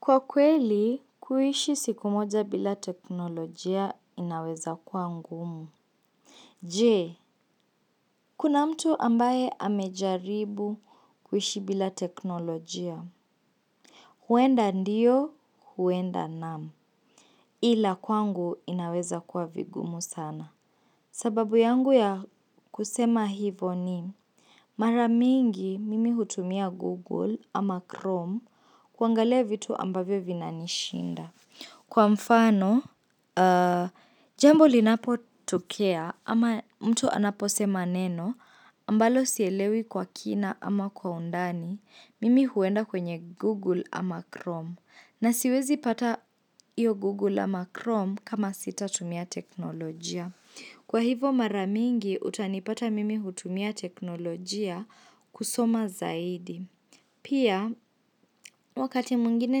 Kwa kweli, kuishi siku moja bila teknolojia inaweza kwa ngumu. Je, kuna mtu ambaye amejaribu kuishi bila teknolojia. Huenda ndiyo, huenda naam. Ila kwangu inaweza kwa vigumu sana. Sababu yangu ya kusema hivo ni. Mara mingi mimi hutumia Google ama Chrome kuangalia vitu ambavyo vinanishinda. Kwa mfano, jambo linapotokea ama mtu anaposema neno, ambalo sielewi kwa kina ama kwa undani, mimi huenda kwenye Google ama Chrome. Na siwezi pata hiyo Google ama Chrome kama sitatumia teknolojia. Kwa hivo mara mingi, utanipata mimi hutumia teknolojia kusoma zaidi. Pia, wakati mwingine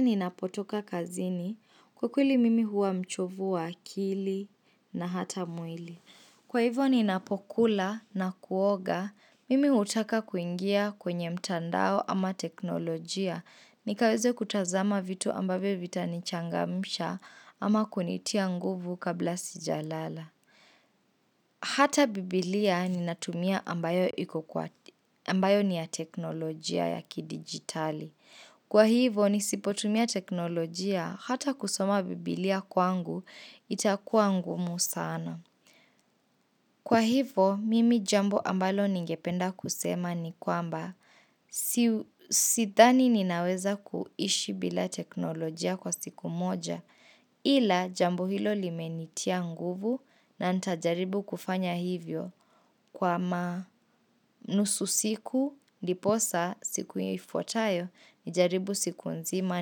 ninapotoka kazini, kwa kweli mimi huwa mchovu wa akili na hata mwili. Kwa hivyo ninapokula na kuoga, mimi hutaka kuingia kwenye mtandao ama teknolojia. Nikaweze kutazama vitu ambavyo vitanichangamsha ama kunitia nguvu kabla sijalala. Hata biblia ninatumia ambayo ni ya teknolojia ya kidigitali. Kwa hivyo nisipotumia teknolojia hata kusoma bibilia kwangu itakuwa ngumu sana. Kwa hivyo mimi jambo ambalo ningependa kusema ni kwamba sidhani ninaweza kuishi bila teknolojia kwa siku moja ila jambo hilo limenitia nguvu na nitajaribu kufanya hivyo kwa nusu siku ndiposa siku hiyo ifuatayo nijaribu siku nzima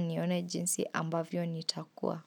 nione jinsi ambavyo nitakuwa.